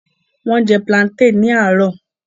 Wọ́n jẹ plantain ní àárọ̀